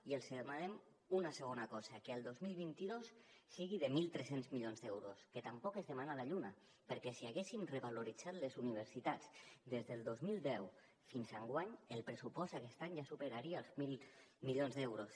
i els demanem una segona cosa que el dos mil vint dos sigui de mil tres cents milions d’euros que tampoc és demanar la lluna perquè si haguéssim revaloritzat les universitats des del dos mil deu fins enguany el pressupost aquest any ja superaria els mil milions d’euros